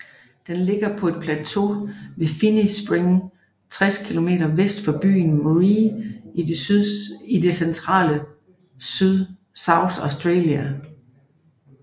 Den ligger på et plateau ved Finnis Springs 60 km vest for byen Marree i det centrale South Australia